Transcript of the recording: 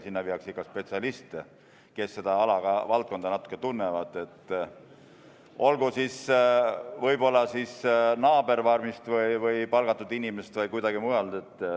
Sinna viiakse ikka spetsialiste, kes seda ala ja valdkonda natukene tunnevad, olgu need võib-olla naaberfarmist või kusagilt mujalt palgatud inimesed.